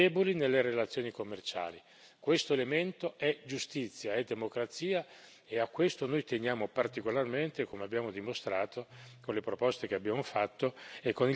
Questo elemento è giustizia, è democrazia, e a questo noi teniamo particolarmente, come abbiamo dimostrato con le proposte che abbiamo fatto e con il carattere della discussione che abbiamo avuto.